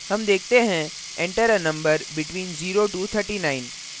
हम देखते हैं enter a number between 0 to 39